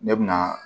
Ne bɛna